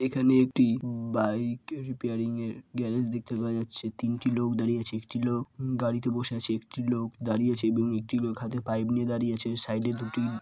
এখানে একটা bike repairing -এর গ্যারেজ দেখতে পাওয়া যাচ্ছে। তিনটি দাঁড়িয়ে আছে ।একটি লোক হু গাড়িতে বসে আছে। একটি লোক দাঁড়িয়ে আছে এবং একটি লোক হাতে পাইপ নিয়ে দাঁড়িয়ে আছে সাইড -এ দুটি--